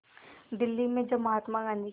दिल्ली में जब महात्मा गांधी की